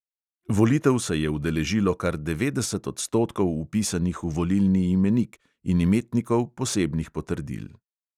Volitev se je udeležilo kar devetdeset odstotkov vpisanih v volilni imenik in imetnikov posebnih potrdil.